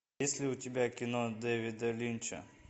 есть ли у тебя кино дэвида линча